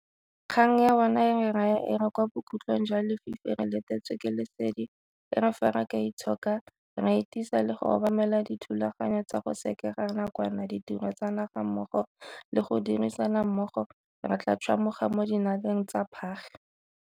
Kgang ya bona e re raya e re kwa bokhutlhong jwa lefifi re letetswe ke lesedi, e re fa re ka itshoka, ra itisa le go obamela dithulaganyo tsa go sekega nakwana ditiro tsa naga mmogo le go dirisana mmogo, re tla tšhwamoga mo dinaleng tsa phage.